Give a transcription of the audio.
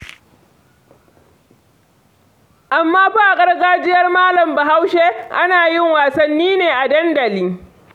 Amma fa a gargajiyar Malam Bahaushe, ana yin wasanni ne a dandali.